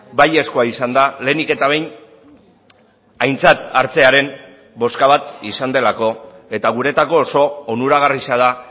baiezkoa izan da lehenik eta behin aintzat hartzearen bozka bat izan delako eta guretzako oso onuragarria da